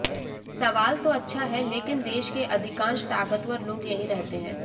सवाल तो अच्छा है लेकिन देश के अधिकांश ताकतवर लोग यहीं रहते हैं